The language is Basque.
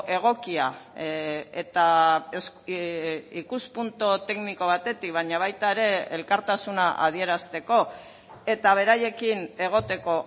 egokia eta ikuspuntu tekniko batetik baina baita ere elkartasuna adierazteko eta beraiekin egoteko